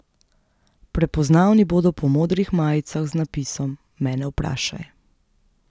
Prepoznavni bodo po modrih majicah z napisom Mene vprašaj?